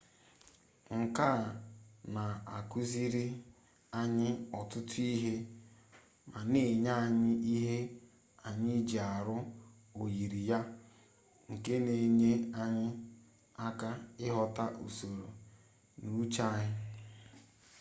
nke a na-akuziri anyị ọtụtụ ihe ma na-enye anyị ihe anyị ji arụ oyiri ya nke na-enyere anyị aka ịghọta usoro n'uche anyị